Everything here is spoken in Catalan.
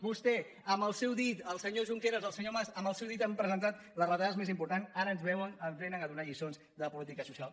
vostè amb el seu dit el senyor junqueras el senyor mas amb el seu dit que han presentat les retallades més importants ara ens vénen a donar lliçons de política social